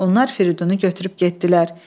Onlar Firidunu götürüb getdilər.